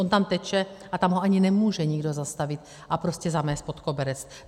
On tam teče a tam ho ani nemůže nikdo zastavit a prostě zamést pod koberec.